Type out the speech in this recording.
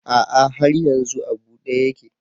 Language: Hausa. A'a har yanzu a bude yake.